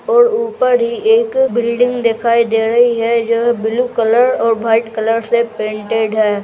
और ऊपर ही एक बिल्डिंग दिखाई दे ड़ही है जो ब्लू कलर और भाइट कलर से पेनटेड है।